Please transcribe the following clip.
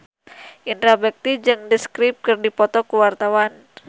Indra Bekti jeung The Script keur dipoto ku wartawan